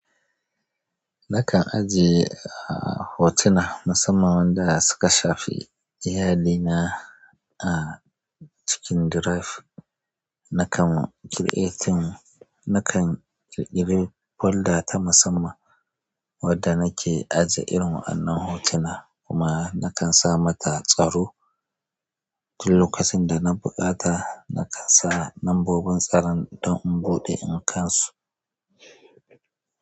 Nakan ajiye a hotuna musamman wanda suka shafi iyalina a cikin drive. Nakan creating nakan ƙirƙiri folda ta musamman wadda nake ajiye irin wa'an nan hotunan kuma nakan sa mata tsaro. Duk lokacin da na buƙata nakan sa lambobin tsaron don in buɗe in kansu.